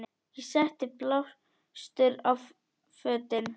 Ég setti blástur á fötin.